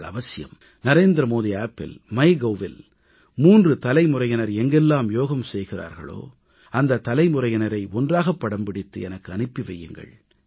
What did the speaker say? நீங்கள் அவசியம் NarendraModiAppஇல் MyGovஇல் 3 தலைமுறையினர் எங்கெல்லாம் யோகம் செய்கிறார்களோ அந்த தலைமுறையினரை ஒன்றாகப் படம்பிடித்து எனக்கு அனுப்பி வையுங்கள்